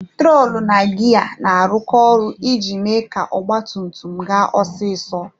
Trọtụl na giya na-arụkọ ọrụ iji mee ka ọgba tum tum ga osisi.